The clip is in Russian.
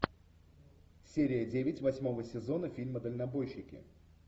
серия девять восьмого сезона фильма дальнобойщики